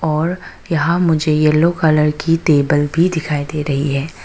और यहां मुझे येलो कलर की टेबल भी दिखाई दे रही है।